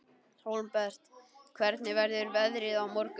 Hólmbert, hvernig verður veðrið á morgun?